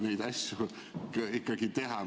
... neid asju ikkagi teha.